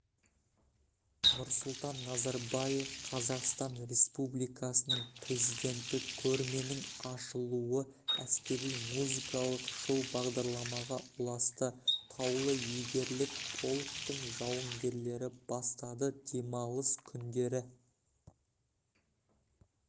нұрсұлтан назарбаев қазақстан республикасының президенті көрменің ашылуы әскери-музыкалық шоу-бағдарламаға ұласты таулы-егерлік полктің жауынгерлері бастады демалыс күндері